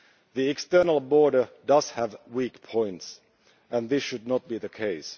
The external border does have weak points, and this should not be the case.